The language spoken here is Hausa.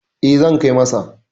E, zan kai masa.